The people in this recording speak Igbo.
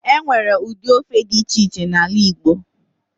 Enwere ụdị ofe dị iche iche n'ala igbo